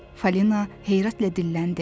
Falina heyrətlə dilləndi.